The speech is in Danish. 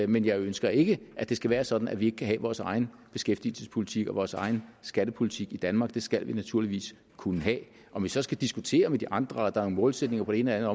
men jeg ønsker ikke at det skal være sådan at vi ikke kan have vores egen beskæftigelsespolitik og vores egen skattepolitik i danmark det skal vi naturligvis kunne have om vi så skal diskutere med de andre og der er nogle målsætninger på det ene eller